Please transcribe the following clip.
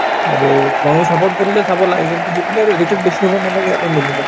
আৰু support ময়ো কৰো যে চাব লাগে কিন্তু সেইবুলি আৰু বেছি হব নালাগে আৰু